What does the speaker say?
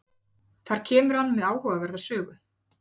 Þar kemur hann með áhugaverða sögu.